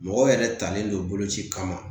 Mɔgɔw yɛrɛ talen don boloci kama